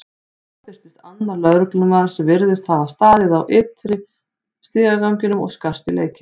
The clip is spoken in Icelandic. Þá birtist annar lögreglumaður sem virtist hafa staðið á ytri stigaganginum og skarst í leikinn.